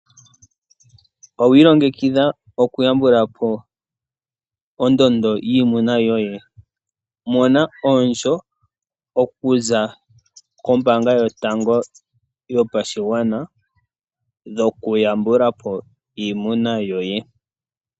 Owiilongekidha okuyambukapo ondondo yiimuna yoye? Mona omukuli okuza kombaanga yotango yopashigwana gokutambulapo iimuna yoye.